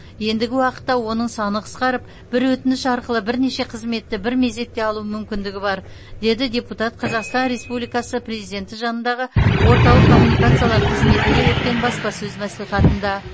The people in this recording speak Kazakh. ендігі уақытта оның саны қысқарып бір өтініш арқылы бірнеше қызметті бір мезетте алу мүмкіндігі бар деді депутат қазақстан республикасы президенті жанындағы орталық коммуникациялар қызметінде өткен баспасөз мәслихатында